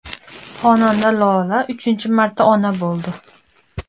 Xonanda Lola uchinchi marta ona bo‘ldi.